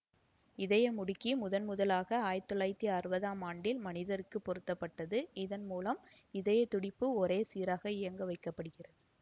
இதயமுடுக்கி முதன்முதலாக ஆயிரத்தி தொள்ளாயிரத்தி அறுபதாம் ஆண்டில் மனிதருக்குப் பொருத்தப்பட்டது இதன் மூலம் இதய துடிப்பு ஒரே சீராக இயங்க வைக்க படுகிறது